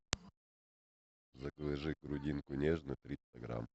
закажи грудинку нежную триста грамм